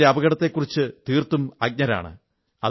ഇതിന്റെ അപകടത്തെക്കുറിച്ചും തീർത്തും അജ്ഞരാണ്